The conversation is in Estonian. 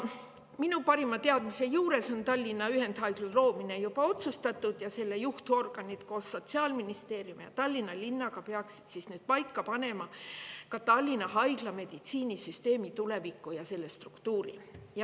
Minu parima teadmise kohaselt on Tallinna ühendhaigla loomine juba otsustatud ning selle juhtorganid koos Sotsiaalministeeriumi ja Tallinna linnaga peaksid paika panema Tallinna Haigla ja meditsiinisüsteemi tuleviku ja struktuuri.